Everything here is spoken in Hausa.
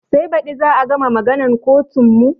Sai baɗi za a gama maganan kotun mu